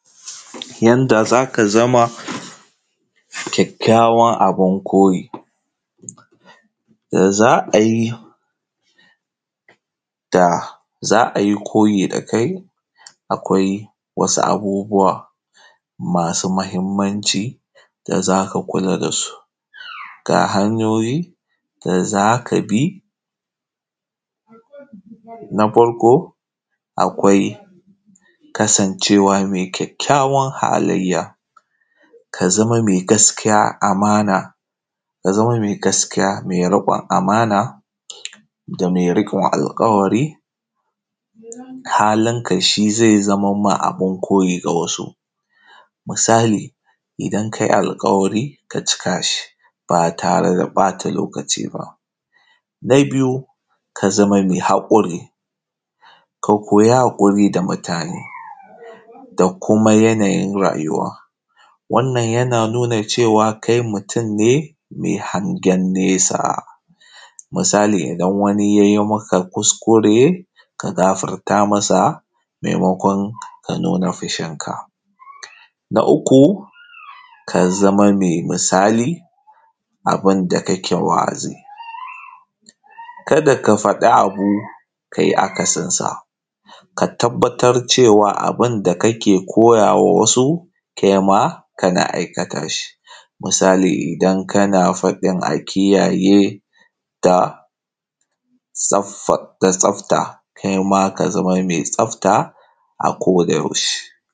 Yanda za ka zama kyakkyawa abin koyi, da za a yi, da za a yi koyi da kai, akwai wasu abubuwa masu mahimmanci da za ka kula da su. Ga hanyoyin da za ka bi: Na farko akwai kasancewa mai kyakkyawan halayya, ka zama mai gaskiya, amana, ka zama mai gaskiya da riƙon amana, da mai riƙon alƙawari, halinka shi zai zaman ma abin koyi ga wasu, misali; idan ka yi alƙawari ka cika shi ba tare da ɓata lokaci ba. Na biyu ka zama mai haƙuri, ka koyi haƙuri da mutane da kuma yanayin rayuwa, wannan yana nuna cewa kai mutum ne mai hangen nesa, misali, idan wani ya yi maka kuskure ka gafarta masa, maimakon ka nuna fushinka. Na uku ka zama mai misali abin da kake wa’azi, ka da ka faɗi abu ka yi akasin sa, ka tabbatar cewa abin da kake koyawa wasu kai ma kana aikata shi, misali, idan kana faɗin a kiyaye da saffa, da tsafta, kaima ka zama mai tsafta a ko-da-yaushe.